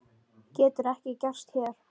Getur ekki gerst hér.